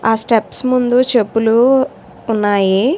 ఆ స్టెప్స్ ముందు చెప్పులూ ఉన్నాయి.